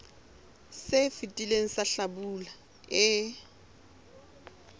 se fetileng sa hlabula e